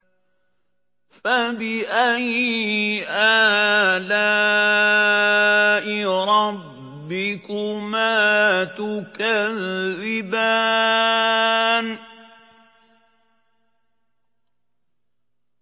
فَبِأَيِّ آلَاءِ رَبِّكُمَا تُكَذِّبَانِ